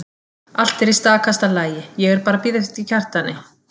Allt er í stakasta lagi, ég er bara að bíða eftir Kjartani.